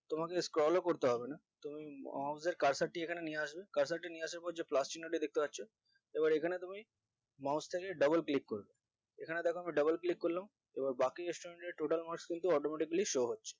তোমাকে scroll ও করতে হবে না তুমি mouse এর cursor টি এখানে নিয়ে আসবে cursor নিয়ে আসার পর যে plus চিহ্ন তা দেখতে পাচ্ছ এবার এখানে তুমি mouse তাকে double click করবে এখানে দ্যাখো আমি double click করলাম এবার বাকি student এর total marks কিন্তু automatically show হচ্ছে